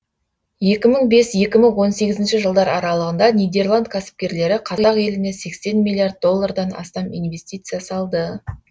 екі мың бес екі мың он сегізінші жылдар аралығында нидерланд кәсіпкерлері қазақ еліне сексен миллиард доллардан астам инвестиция салды